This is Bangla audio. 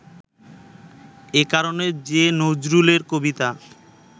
এ কারণে যে নজরুলের কবিতা